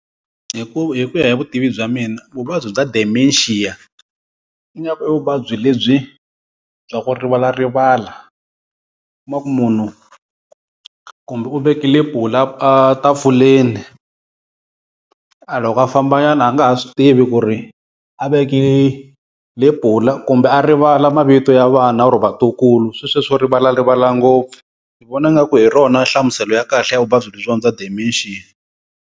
Hi ku hi ku ya hi vutivi bya mina vuvabyi bya Dementia ingaku i vuvabyi lebyi bya ku rivalarivala. I kuma ku munhu kumbe u vekile lepula a a tafulen a loko a fambanyana a nga ha swi tivi ku ri a veke lepula kumbe a rivala mavito ya vana or vatukulu sweswiya swo rivalarivala ngopfu. Ni vona ngaku hi rona nhlamuselo ya kahle ya vuvabyi lebyiwa bya Dementia.